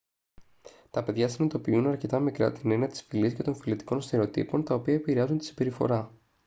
τα παιδιά συνειδητοποιούν αρκετά μικρά την έννοια της φυλής και των φυλετικών στερεοτύπων τα οποία επηρεάζουν τη συμπεριφορά